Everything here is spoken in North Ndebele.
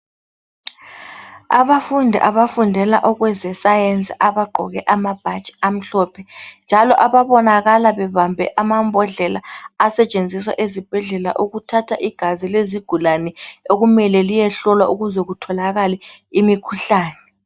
Abafundi abafundela okweze science abagqoke amabhatshi amhlophe njalo ababonakala bebambe amambodlela asetshinziswa ezibhedlela ukuthatha igazi lezigulane okumele liyehlolwa ukuze kutholakale imikhuhlane.